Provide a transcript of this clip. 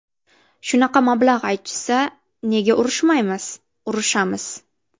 Shunaqa mablag‘ aytishsa, nega urushmaymiz, urushamiz.